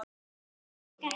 Hver er ykkar helsti ótti?